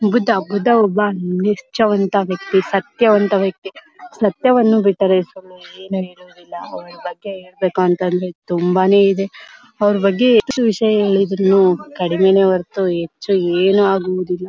ಬುದ್ಧ ಬುದ್ಧ ಒಬ್ಬ ನಿಷ್ಠಾವಂತ ವ್ಯಕ್ತಿ ಸತ್ಯವಂತ ವ್ಯಕ್ತಿ ಸತ್ಯವನ್ನು ಬಿಟ್ಟರೆ ಬೇರೇನೂ ಇಲ್ಲ ಅವರ ಬಗ್ಗೆ ಹೇಳ್ಬೇಕು ಅಂತ ಅಂದ್ರೆ ತುಂಬಾನೇ ಇದೆ ಅವರ ಬಗ್ಗೆ ಎಷ್ಟು ವಿಷಯ ಹೇಳಿದ್ರೂನು ಕಡಿಮೇನೆ ಹೊರತು ಹೆಚ್ಚು ಏನು ಆಗುವುದಿಲ್ಲ.